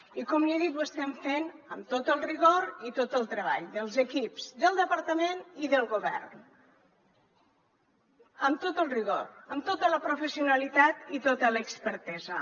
i com l’hi he dit ho estem fent amb tot el rigor i tot el treball dels equips del departament i del govern amb tot el rigor amb tota la professionalitat i tota l’expertesa